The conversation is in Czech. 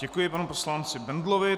Děkuji panu poslanci Bendlovi.